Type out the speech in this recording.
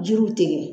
Jiriw tigɛ